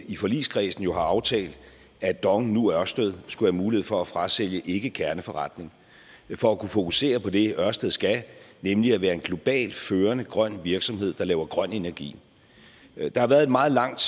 i forligskredsen jo har aftalt at dong nu ørsted skulle have mulighed for at frasælge ikkekerneforretning for at kunne fokusere på det ørsted skal nemlig at være en globalt førende grøn virksomhed der laver grøn energi der har været et meget langt